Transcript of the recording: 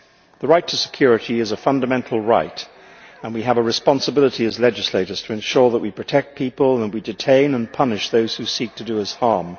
The right to security is a fundamental right, and we have a responsibility, as legislators, to ensure that we protect people and that we detain and punish those who seek to do us harm.